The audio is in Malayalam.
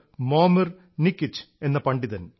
മോമിർ നികിച് എന്ന പണ്ഡിതൻ